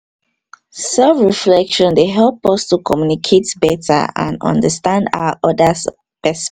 self reflection dey help us to communicate beta and understand our oda